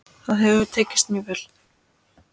Það hefur tekist mjög vel.